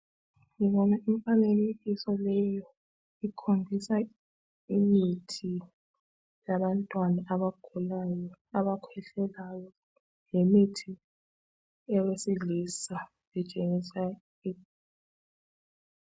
Ngibona imfanekiso leyo ikhombisa imithi yabantwana abagulayo, abakhwehlelayo lemithi yabesilisa itshengisa .